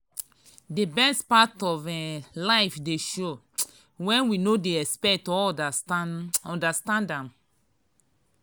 the best part of um life dey show when we no dey expect or understand um am.